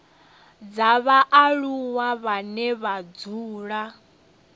dza vhaaluwa vhane vha dzula